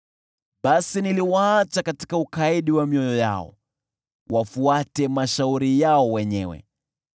Basi niliwaacha katika ukaidi wa mioyo yao wafuate mashauri yao wenyewe.